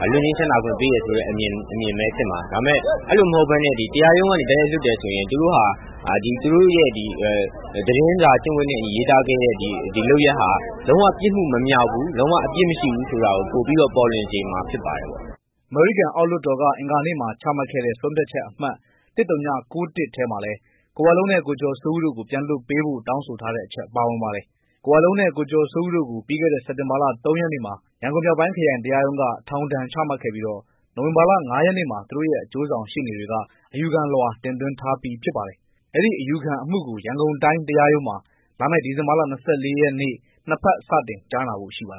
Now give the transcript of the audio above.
က လွှတ်ငြိမ်းချမ်းသာခွင့်ပေးတယ် ဆိုတဲ့အမြင်ပဲဖြစ်မှာ အဲလိုမဟုတ်ပဲနဲ့ ဒီ တရားရုံးကနေ တိုက်ရိုက်လွှတ်တယ်ဆိုရင် သူတို့ဟာ သတင်းစာကျင့်ဝတ်နဲ့အညီ ရေးသားခဲ့တဲ့ လုပ်ရက်ဟာ လုံးဝ ပြစ်မှုမမြောက်ဘူး ၊ လုံး၀ အပြစ်မရှိဘူးဆိုတာကို ပိုပြီးတော့ ပေါ်လွင်စေမှာဖြစ်ပါတယ်။" အမေရိကန်အောက်လွှတ်တော်က အင်္ဂါနေ့မှာချမှတ်တဲ့ ဆုံးဖြတ်ချက်အမှတ် ၁၀၉၁ ထဲမှာလည်း ကိုဝလုံးနဲ့ ကိုကျော်စိုးဦးတို့ကို ပြန်လွှတ်ပေးဖို့ တောင်းဆိုထားတဲ့အချက် ပါဝင်ပါတယ်။ ကိုဝလုံးနဲ့ ကိုကျော်စိုးဦးတို့ကို ပြီးခဲ့တဲ့ စက်တင်ဘာလ ၃ ရက်နေ့မှာ ရန်ကုန် မြောက်ပိုင်းခရိုင်တရားရုံးက ထောင်ဒဏ်ချမှတ်ခဲ့ပြီး နိုဝင်ဘာလ ၅ ရက်နေ့မှာ သူတို့ရဲ့ အကျိုးဆောင်ရှေ့နေတွေက အယူခံလွှာ တင်သွင်းထားပြီးဖြစ်ပါတယ်။ အဲဒီအယူခံအမှုကို ရန်ကုန်တိုင်းတရားရုံးမှာ လာမယ့် ဒီဇင်ဘာလ ၂၄ ရက်နေ့နှစ်ဘက် စတင်ကြားနာဖို့ရှိပါ